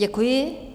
Děkuji.